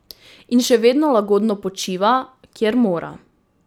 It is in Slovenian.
In še vedno lagodno počiva, kjer mora.